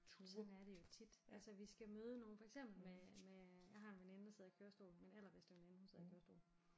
Sådan er det jo tit altså vi skal møde nogen for eksempel med med øh jeg har en veninde der sidder i kørestol min allerbedste veninde hun sidder i kørestol